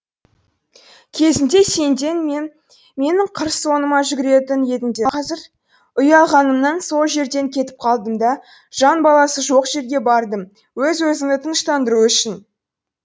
кезінде сенден менің қыр соңыма жүгіретін едіңдер қазір ұялғанымнан сол жерден кетіп қалдым да жан баласы жоқ жерге бардым өз өзімді тыныштандыру үшін